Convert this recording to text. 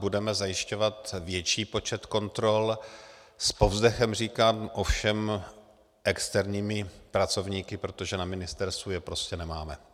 Budeme zajišťovat větší počet kontrol, s povzdechem říkám, ovšem externími pracovníky, protože na ministerstvu je prostě nemáme.